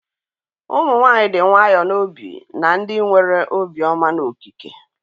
Ụmụ nwanyị dị nwayọọ n'obi na ndị nwere obiọma n'okike.